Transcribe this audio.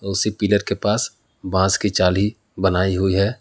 उसी पिलर के पास बांस की जाली बनाई हुई है।